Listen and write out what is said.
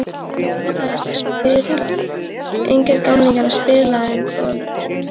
Engir gamlingjar að spila um konur.